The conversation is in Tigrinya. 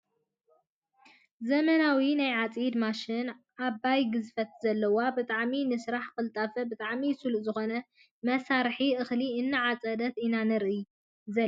ዘመናዊ ናይ ዓፂድ ማሽን ዓባይ ግዝፈት ዘለዋ ብጣዕሚ ንስራሕ ቅልጣፈ ብጣዕሚ ስሉጥን ዝኮነ መሳርሒ እክሊ እናዓፀደት ኢና ንርኢ ዘለና ።